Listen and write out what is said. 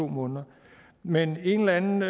måneder men en eller anden